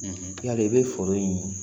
Yala i bɛ foro ye